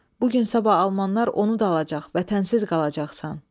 Bu gün-sabah almanlar onu da alacaq, vətənsiz qalacaqsan.